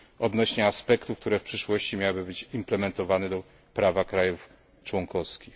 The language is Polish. odnośnie aspektów, które w przyszłości miałyby być implementowane do prawa państw członkowskich.